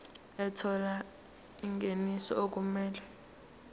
ethola ingeniso okumele